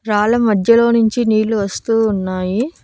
రాళ్ళ మధ్యలో నుంచి నీళ్ళు వస్తూ ఉన్నాయి.